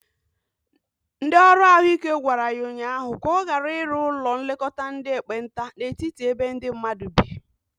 Ndi ọrụ ahụ ike gwara ya ụnyaahụ ka ọ gara iru ụlọ nlekota ndi ekpenta n'etiti ebe ndi mmadu bi.